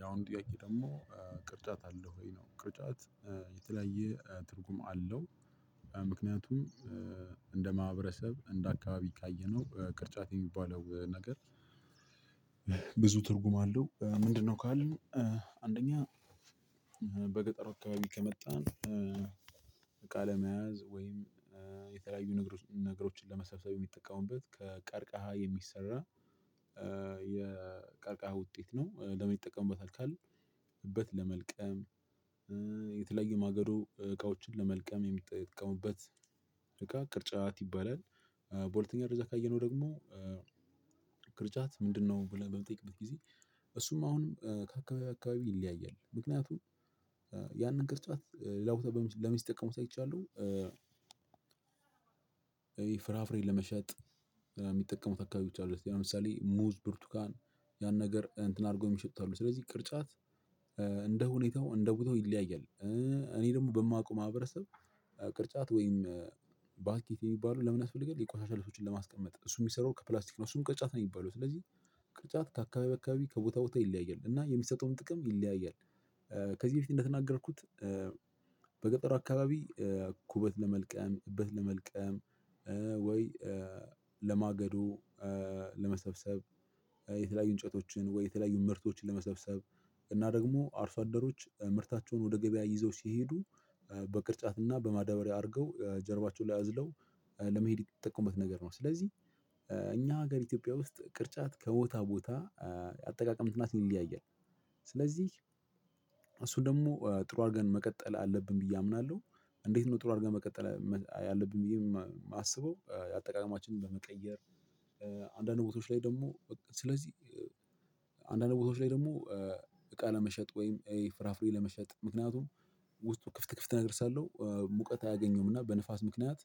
ያውም ጥያቄ ደግሞ ቅርጫት አለህ ወይ? ነው ቅርጫት የተለያየ ትርጉም አለው። ምክንያቱም እንደ ማህበረሰብ እንደ አካባቢ ካየነው ቅርጫት የሚባለው ነገር። ብዙ ትርጉም አለው ምንድነው ካልን። አንደኛ በገጠሩ አካባቢ ከመጣን እቃ ለመያዝ ወይም የተለያዩ ነገሮችን ለመሰብሰብ የሚጠቀሙበት ከቀርከሃ የሚሰራ የቀርቃሃ ውጤት ነው። ለምን ይጠቀሙበታል ካልን። እበት ለመልቀም የተለያዮ ማገዶ እቃዎችን ለመልቀም የሚጠቀሙበት እቃ ቅርጫት ይባላል። በሁለተኛ ደረጃ ካየነው ደግሞ ክርጫት ምንድነው? ብለን በምንጠይቅበት ጊዜ እሱም አሁንም ከአካባቢ አካባቢ ይለያያል። ምክንያቱም ያንን ቅርጫት ሌላ ቦታ ለምን ሲጠቀሙበት አይቻለሁ። ይሄ ፍራፍሬ ለመሸጥ የሚጠቀሙ አካቢዎች አሉት ለምሳሌ ሙዝ ብርቱካን ያን ነገር እንትን አድርጎ የሚሸጡት አሉ። ስለዚህ ቅርጫት እንደ ሁኔታው እንደ ቦታው ይለያያል። እኔ ደግሞ በማውቀው ማህበረሰብ ቅርጫት ወይም ባስኬት የሚባለው ለምን ያስፈልጋል? የቆሻሻ ልብሶችን ለማስቀመጥ እሱ የሚሰራው ከፕላስቲክ ነው። እሱም ቅጣት ነው የሚባለው። ስለዚህ ቅጣት ከአካባቢ አካባቢ ከቦታ ቦታ ይለያያል እና የሚሰጠውም ጥቅም ይለያያል። ከዚህ በፊት እንደተናገርኩት። በገጠሩ አካባቢ ኩበት ለመልቀም እበት ለመልቀም ወይ ለማገዶ ለመሰብሰብ የተለያዩ እንጨቶችን ወይ የተለያዩ ምርቶችን ለመሰብሰብ እና ደግሞ አርሶ አደሮች ምርታቸውን ወደ ገበያ ይዘው ሲሄዱ በቅርጫትና በማደበሪያ አድርገው ጀርባቸውን ላይ አዝለው ለመሄድ የሚጠቀሙበት ነገር ነው። ስለዚህ እኛ ሀገር ኢትዮጵያ ውስጥ ቅርጫት ከቦታ ቦታ አጠቃቀሙና ትርጉሙ ይለያያል። ስለዚህ እሱ ደግሞ ጥሩ አድርገን መቀጠል አለብን ብዬ አምናለሁ። እንዴት ነው ጥሩ አድርገን መቀጠል ያለብን ብዬ የማስበው አጠቃቀምችንን በመቀየር። አንዳንድ ቦታዎች ላይ ደግሞ በቃ ስለዚህ አንዳንድ ቦታዎች ላይ ደግሞ እቃ ለመሸጥ ወይም ፍራፍሬ ለመሸጥ ምክንያቱም ውስጡ ክፍት ክፍት ነገር ስላለው ሙቀት አያገኘውም እና በንፋስ ምክንያት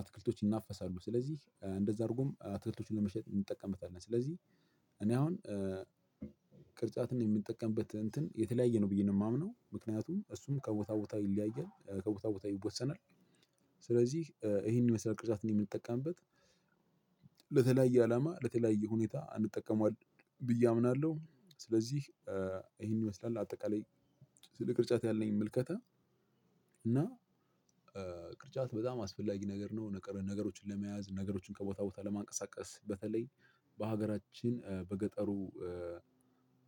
አትክልቶች ይናፈሳሉ ስለዚህ እንደዛ አድርጎም አትክልቶቹን ለመሸጥ እንጠቀምበታለን። ስለዚህ እኔ አሁን ቅርጫትን የምጠቀምበት እንትን የተለያየ ነው ብዬ ነው የማምነው ምክንያቱም እሱም ከቦታ ቦታ ይለያያል ከቦታ ቦታ ይወሰናል። ስለዚህ ይሄን ይመሰላል ቅርጫትን የምንጠቀምበት ለተለያየ አላማ ለተለያየ ሁኔታ እንጠቀመዋለን ብዬ አምናለሁ። ስለዚህ ይሄን ይመስላል አጠቃላይ ስለ ቅርጫት ያለኝ ምልከታ። እና ቅርጫት በጣም አስፈላጊ ነገር ነው። ነገሮችን ለመያዝ ነገሮችን ከቦታ ቦታ ለማንቀሳቀስ በተለይ በሀገራችን በገጠሩ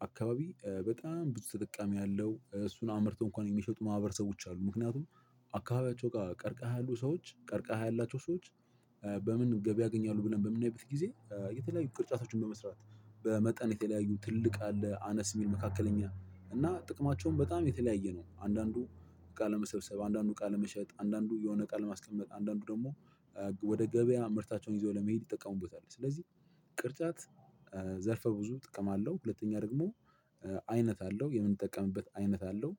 አካባቢ በጣም ብዙ ተጠቃሚ ያለው እሱን አምርቶ እንኳን የሚሸጡ ማህበረሰቦች አሉ። ምክንያቱም አካባቢያቸው ቀርቀሃ ያሉ ሰዎች ቀርቀሃ ያላቸው ሰዎች በምን ገበያ ያገኛሉ? ብለን በምናይበት ጊዜ የተለያዩ ቅርጻቶችን በመስራት በመጠን የተለያዩ ትልቅ አለ አነስ የሚል መካከለኛ እና ጥቅማቸውን በጣም የተለያየ ነው። አንዳንዱ እቃ ለመሰብሰብ አንዳንዱ ቃለ ለመሸጥ አንዳንዱ የሆነ ቃል ለማስቀመጥ አንዳንዱ ደግሞ ወደ ገበያ ምርታቸውን ይዘው ለመሄድ ይጠቀሙበታል። ስለዚህ ቅርጫት ዘርፈ ብዙ ጥቅም አለው። ሁለተኛ ደግሞ አይነት አለው የምንጠቀምበት አይነት አለው።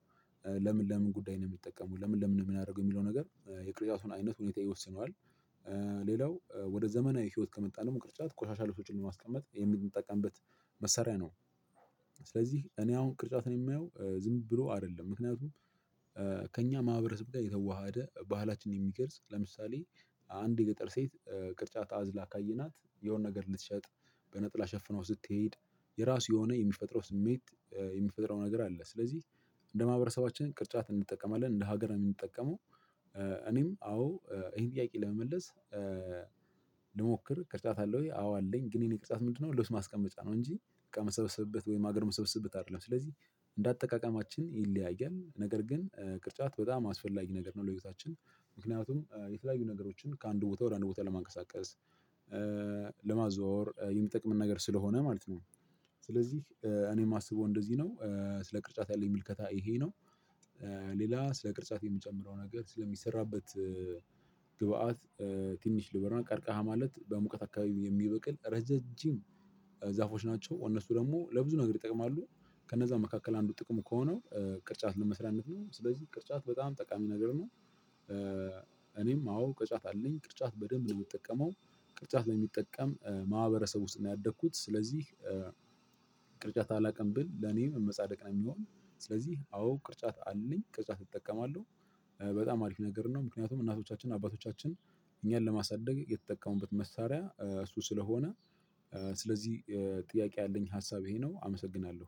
ለምን ለምን ጉዳይ ነው? የሚጠቀሙት ለምን ለምን ነው የሚያደርጉት? የሚለው ነገር የቅርጫቱን አይነት ሁኔታ ይወስነዋል። ሌላው ወደ ዘመናዊ ህይወት ከመጣን ቅርጫት ቆሻሻ ልብሶችን ለማስቀመጥ የምንጠቀምበት መሳሪያ ነው። ስለዚህ እኔ አሁን ቅርጫትን የማየው ዝም ብሎ አይደለም። ምክንያቱም ከእኛ ማህበረሰብ ጋር የተዋሃደ ባህላችንን የሚገልጽ ለምሳሌ አንድ የገጠር ሴት ቅርጫት አዝላ ካየናት የሆነ ነገር ልትሸጥ በነጠላ ሸፍናው ስትሄድ የራሱ የሆነ የሚፈጥረው ስሜት የሚፈጥረው ነገር አለ። ስለዚህ እንደ ማህበረሰባችን ቅርጫት እንጠቀማለን እንደ ሀገር ነው የምንጠቀመው። እኔም አዎ ይሄን ጥያቄ ለመመለስ ልሞክር ቅርጫት አለህ ወይ? አዎ አለኝ። ግን የኔ ቅጣት ምንድነው? ልብስ ማስቀመጫ ነው እንጂ እቃ የምሰበስብበት ወይም ሀገር የምሰበስብበት አይደለም። ስለዚህ እንደ እንዳጠቃቀማችን ይለያያል። ነገር ግን ቅርጫት በጣም አስፈላጊ ነገር ነው። ለህይወታችን ምክንያቱም የተለያዩ ነገሮችን ከአንድ ቦታ ወደ አንድ ቦታ ለማንቀሳቀስ ለማዘዋወር የሚጠቅመን ነገር ስለሆነ ማለት ነው። ስለዚህ እኔ የማስበው እንደዚህ ነው ስለ ቅርጫት ያለኝ ምልከታ ይሄ ነው። ሌላ ስለ ቅርጫት የምጨምረው ነገር ስለሚሰራበት ግብአት ትንሽ ላውራ ቀርቀሃ ማለት በሙቀት አካባቢው የሚበቅል ረዛዥም ዛፎች ናቸው። እነሱ ደግሞ ለብዙ ነገር ይጠቅማሉ። ከነዛ መካከል አንዱ ጥቅሙ ከሆነው ቅርጫት ለመስሪያነት ነው። ስለዚህ ቅርጫት በጣም ጠቃሚ ነገር ነው። እኔም አዎ ቅርጫት አለኝ ቅርጫት በደንብ ነው የምጠቀመው። ቅጣት በሚጠቀም ማህበረሰብ ውስጥ ነው ያደግኩት። ስለዚህ ቅርጫት አላቅም ብል ለኔም መጻደቅ ነው። የሚሆን ስለዚህ አዎ ቅርጫት አለኝ ቅርጫት እጠቀማለሁ። በጣም አሪፍ ነገር ነው። ምክንያቱም እናቶቻችን አባቶቻችን እኛን ለማሳደግ የተጠቀሙበት መሳሪያ እሱ ስለሆነ። ስለዚህ ጥያቄ ያለኝ ሀሳብ ይሄ ነው አመሰግናለሁ።